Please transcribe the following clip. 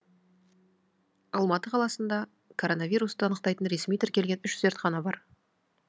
алматы қаласында коронавирусты анықтайтын ресми тіркелген үш зертхана бар